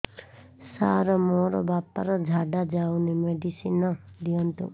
ସାର ମୋର ବାପା ର ଝାଡା ଯାଉନି ମେଡିସିନ ଦିଅନ୍ତୁ